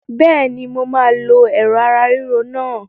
Bẹ́ẹ̀ni, mo máa lo Ẹ̀rọ̀ ara ríro náà.